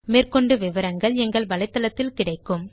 மேற்கொண்டு விவரங்கள் எங்கள் வலைத்தளத்தில் கிடைக்கும்